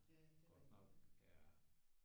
Ja det er rigtigt ja